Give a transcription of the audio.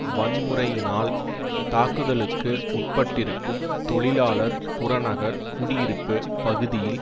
வன்முறையினால் தாக்குதலுக்கு உட்பட்டிருக்கும் தொழிலாளர் புறநகர் குடியிருப்பு பகுதியில்